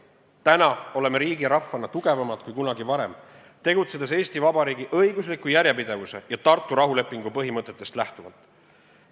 Täna oleme riigi ja rahvana tugevamad kui kunagi varem, tegutsedes Eesti Vabariigi õigusliku järjepidevuse ja Tartu rahulepingu põhimõtetest lähtuvalt.